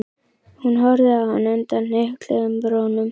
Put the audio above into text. Hún horfði á hann undan hnykluðum brúnum.